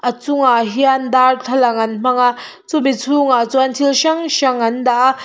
a chungah hian darthlalang an hmang a chumi chhungah chuan thil hrang hrang an dah a.